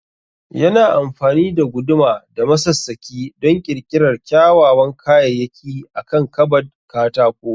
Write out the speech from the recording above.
Yana amfani da guduma da masassaki don ƙirƙirar kyawawan kayayyaki akan kabad katako